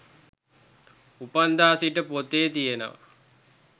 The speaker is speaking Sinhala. උපන්දා සිට පොතේ තියනවා